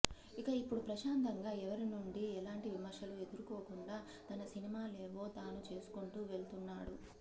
ఇక ఇప్పుడు ప్రశాంతంగా ఎవరి నుండి ఎలాంటి విమర్శలు ఎదురుకోకుండా తన సినిమాలేవో తాను చేసుకుంటూ వెళ్తున్నాడు